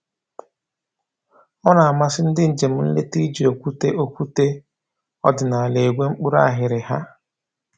Ọ na-amasị ndị njem nleta iji okwute okwute ọdịnaala egwe mkpụrụ aghịrịgha